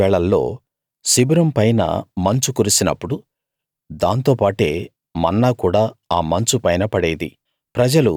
రాత్రి వేళల్లో శిబిరం పైన మంచు కురిసినప్పుడు దాంతో పాటే మన్నా కూడా ఆ మంచు పైన పడేది